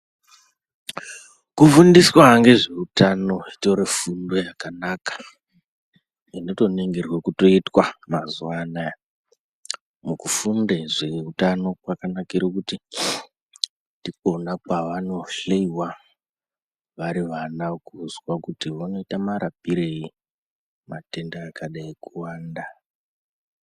Kufundiswa ngezveutano zvitori fundo yakanaka inotoningirwa kutoitwa mazuva anaya. Mukufunde zveutano kwakanakire kuti ndikona kwavanohloiwa vari vana kuzwa kuti vanoita marapirei matenda akadai kuwanda.